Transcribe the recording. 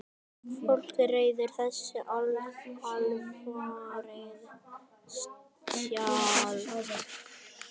Fólk ræður þessu alfarið sjálft.